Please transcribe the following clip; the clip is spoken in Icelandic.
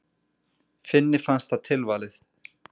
Finni fannst það tilvalið.